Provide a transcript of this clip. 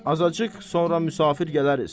Azacıq sonra müsafir gələriz.